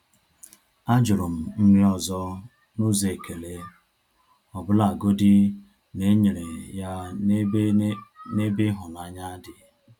A jụrụ m nri ọzọ n’ụzọ ekele, ọbụlagodi na e nyere ya n’ebe n’ebe ịhụnanya dị.